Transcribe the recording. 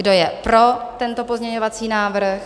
Kdo je pro tento pozměňovací návrh?